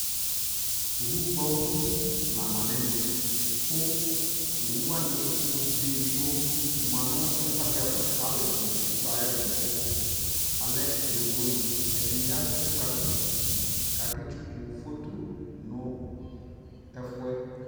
ɔwʋ gbɔ ʋti la manʋ ɛmɛ kʋ ɔwʋ wani ɔbɛ ɛdigbɔ manʋ ɛkʋɛdi aɣa kʋ alʋɛdini ɛtsʋkʋ ayɛtʋdʋ, alɛ yɔvɔ ni, ɛdini azɛ ikpakɔ kʋ akɛ tsʋkʋ phɔtɔ nʋ ɛƒʋɛ